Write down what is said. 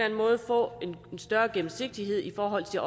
større gennemsigtighed i forhold til